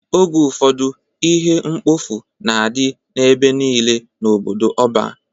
Oge ụfọdụ ihe mkpofu na-adị ebe niile n'obodo ọban.